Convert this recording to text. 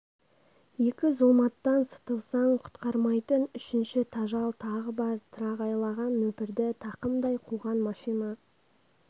екі зұлматтан сытылсаң құтқармайтын үшінші тажал тағы бар тырағайлаған нөпірді тақымдай қуған машина